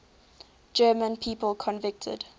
german people convicted